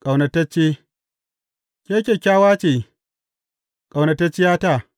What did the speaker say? Ƙaunatacce Ke kyakkyawa ce, ƙaunatacciyata!